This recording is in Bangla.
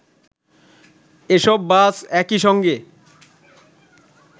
এসব বাস একইসঙ্গে